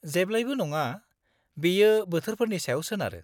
-जेब्लाबो नङा, बेयो बोथोरफोरनि सायाव सोनारो।